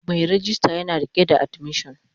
Mai rejista yana rike da admission